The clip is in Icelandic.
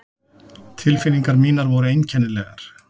Tilfinningar mínar voru einkennilegar.